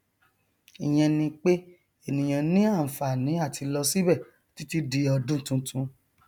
ìyẹn ni pé ènìyàn ní ànfàní àti lọ síbẹ títí di ọdún tuntun